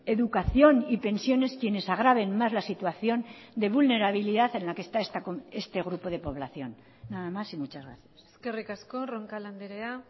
educación y pensiones quienes agraven más la situación de vulnerabilidad en la que está este grupo de población nada más y muchas gracias eskerrik asko roncal andrea